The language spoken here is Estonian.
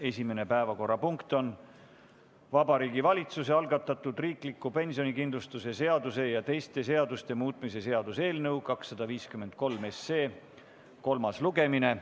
Esimene päevakorrapunkt on Vabariigi Valitsuse algatatud riikliku pensionikindlustuse seaduse ja teiste seaduste muutmise seaduse eelnõu 253 kolmas lugemine.